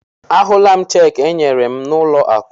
Ahụla m cheekị e nyere m n'ụlọ akụ.